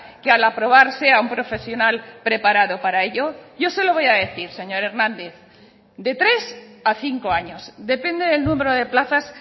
que al aprobar sea un profesional preparado para ello yo se lo voy a decir señor hernández de tres a cinco años depende del número de plazas